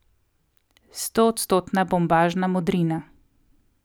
Stoodstotna bombažna modrina.